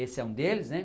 Esse é um deles né.